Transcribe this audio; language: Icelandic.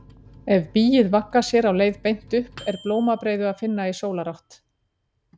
Ef býið vaggar sér á leið beint upp er blómabreiðu að finna í sólarátt.